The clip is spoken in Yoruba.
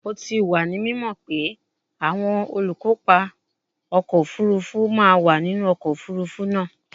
O ti wa ni mimo pe awọn olukopa ọkọ ofurufu ma wa ninu ọkọ ofurufu naa